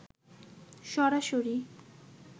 সরাসরি